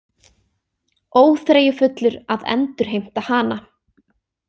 Óþreyjufullur að endurheimta hana.